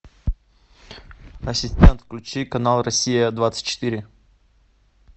ассистент включи канал россия двадцать четыре